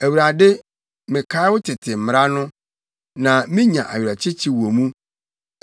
Awurade mekae wo tete mmara no, na minya awerɛkyekye wɔ mu.